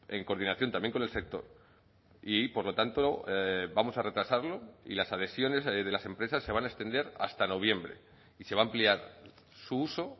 en coordinación también con el sector y por lo tanto vamos a retrasarlo y las adhesiones de las empresas se van a extender hasta noviembre y se va a ampliar su uso